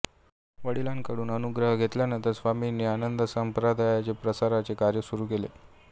वडिलांकडून अनुग्रह घेतल्यानंतर स्वामींनी आनंद संप्रदायाच्या प्रसाराचे कार्य सुरू केले